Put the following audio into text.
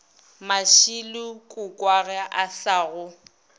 mashilo kokoago a sa go